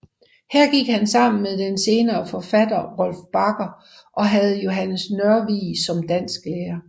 Her gik han sammen med den senere forfatter Rolf Bagger og havde Johannes Nørvig som dansklærer